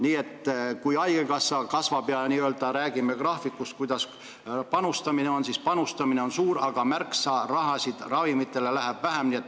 Nii et kui haigekassa eelarve kasvab ja me räägime panustamisest, siis panustamine on suur, aga raha ravimitele läheb märksa vähem.